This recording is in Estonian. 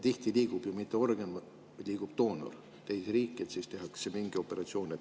Tihti ei liigu ju mitte organ, vaid doonor liigub teise riiki ja siis tehakse mingi operatsioon.